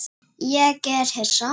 Ég er hissa.